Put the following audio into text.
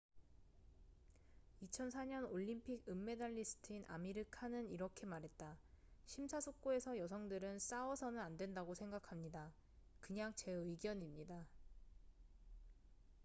"2004년 올림픽 은메달리스트인 아미르 칸은 이렇게 말했다 "심사숙고해서 여성들은 싸워서는 안된다고 생각합니다. 그냥 제 의견입니다.""